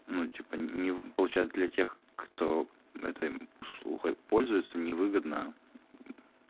ну типо не получает для тех кто этой услугой пользуются не выгодно